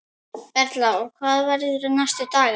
Erla: Og verður næstu daga?